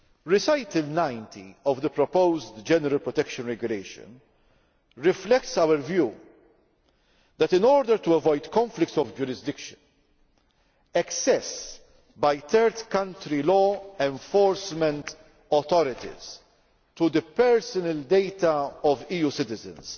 Recital 90 of the proposed General Data Protection Regulation reflects our view that in order to avoid conflicts of jurisdiction, access by third country law enforcement authorities to the personal data of EU citizens